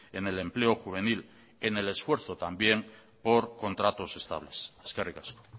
en el empleo juvenil en el esfuerzo también por contratos estables eskerrik asko